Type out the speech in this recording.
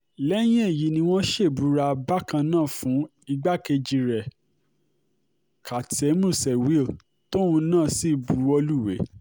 lẹ́yìn èyí ni wọ́n ṣèbúra bákan náà fún igbákejì rẹ̀ katsem shewil̗ tóun náà sì buwọ́ lúwẹ̀ẹ́